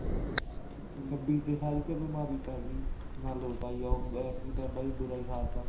ਛੱਬੀ ਚ ਸਾਰੀ ਚ ਬਿਮਾਰੀ ਪੈਗੀ ਨਾ ਲੋਟ ਆਈ ਐਤਕੀ ਤਾਂ ਬਾਈ ਬੁਰਾ ਹੀ ਹਾਲ ਤਾ